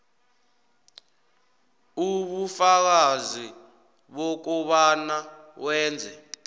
ubufakazi bokobana wenze